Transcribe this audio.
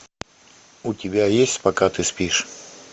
у тебя есть пока ты спишь